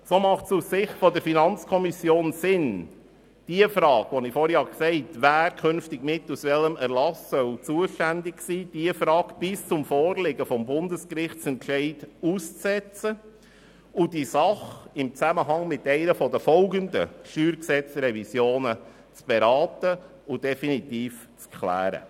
So macht es aus Sicht der FiKo Sinn, die vorhin von mir erwähnte Frage, wer künftig mittels welchen Erlasses zuständig sein solle, bis zum vorliegenden Bundesgerichtsentscheid auszusetzen und diese Angelegenheit im Zusammenhang im Rahmen einer der folgenden StG-Revision zu beraten und definitiv zu klären.